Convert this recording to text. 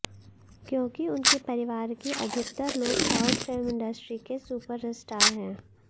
क्योंकि उनके परिवार के अधिकतर लोग साउथ फिल्म इंडस्ट्री के सुपरस्टार हैं